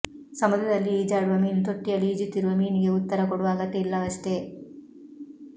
ಸಮುದ್ರದಲ್ಲಿ ಈಜಾಡುವ ಮೀನು ತೊಟ್ಟಿಯಲ್ಲಿ ಈಜುತ್ತಿರುವ ಮೀನಿಗೆ ಉತ್ತರ ಕೊಡುವ ಅಗತ್ಯ ಇಲ್ಲವಷ್ಟೇ